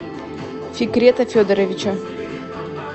фикрета федоровича